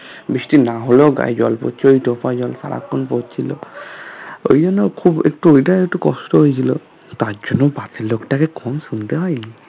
বৃষ্টি না হলেও গায়ে জল পড়ছে ওই টোপা জল সারাক্ষন পড়ছিলো ঐগুলো খুব একটু এটা একটু কষ্ট হয়েছিল তার জন্য পাশের লোকটাকে কম শুনতে হয়নি